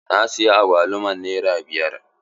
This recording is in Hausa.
Na siya agwaluman nere biyar.